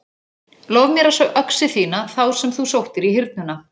Lof mér að sjá öxi þína þá sem þú sóttir í Hyrnuna.